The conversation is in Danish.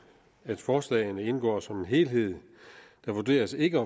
at forslagene indgår som en helhed der vurderes ikke